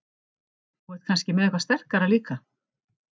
Þú ert kannski með eitthvað sterkara líka?